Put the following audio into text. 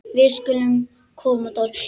Við skulum koma Dóri!